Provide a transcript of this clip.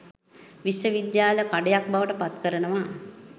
විශ්ව විද්‍යාලය කඩයක් බවට පත්කරනවා